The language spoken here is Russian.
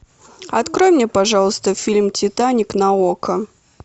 открой мне пожалуйста фильм титаник на око